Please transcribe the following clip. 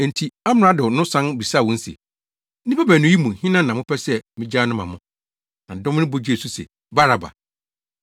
Enti amrado no san bisaa wɔn se, “Nnipa baanu yi mu hena na mopɛ sɛ migyaa no ma mo?” Na dɔm no bɔ gyee so se, “Baraba!”